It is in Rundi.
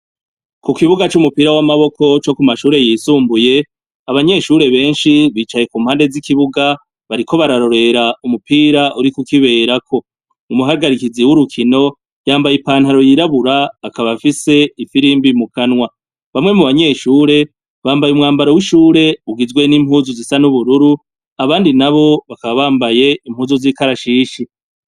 Ku kibuga cumupira wamaboko co kumashure yisumbuye, abanyeshure benshi nicaye kumpande zikibuga nariko bararorera umupira uri kukoberako, umuhagarikizi wumukino wambaye I pantaro yiraburabura akaba afise ifirimbi mukanywa, bamwe mu banyeshure bambaye umwambaro wishure ugizwe ni impuzu zisa nubururu abandi bakaba bambaye impuzu zigizwe nizikarashishi.